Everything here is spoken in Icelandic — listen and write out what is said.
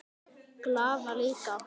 Glaða líka.